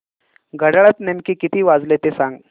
घड्याळात नेमके किती वाजले ते सांग